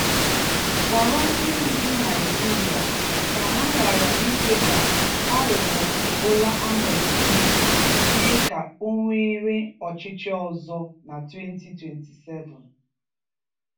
gwara ndị ndu Nigeria ka ha ghara ikwe ka aghụghọ Bola Ahmed Tinubu mee ka o were ọchịchị ọzọ na 2027.